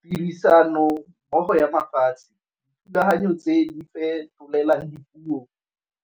Tirisanommogo ya mafatshe, dithulaganyo tse di fetolelang dipuo